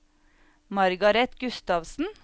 Margareth Gustavsen